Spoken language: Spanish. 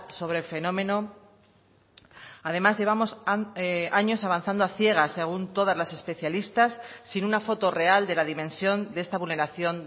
sobre el fenómeno además llevamos años avanzando a ciegas según todas las especialistas sin una foto real de la dimensión de esta vulneración